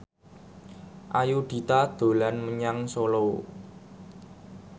Ayudhita dolan menyang Solo